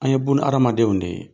An' ye bunahadamadenw de ye.